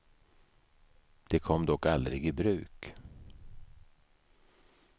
Det kom dock aldrig i bruk.